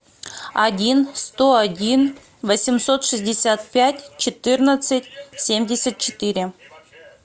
один сто один восемьсот шестьдесят пять четырнадцать семьдесят четыре